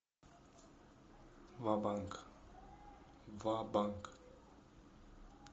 ва банк ва банк